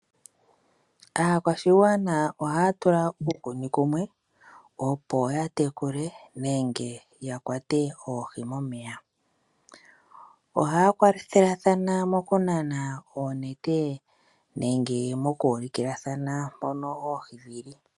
Aakwashigwana ohaya tula uukuni kumwe opo ya tekule nenge ya kwate oohi momeya. Ohaya kwathelathana mokunana oonete nenge moku ulikilathana mpono oohi dhi li.